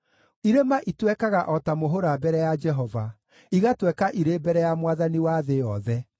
Irĩma itwekaga o ta mũhũra mbere ya Jehova, igatweka irĩ mbere ya Mwathani wa thĩ yothe.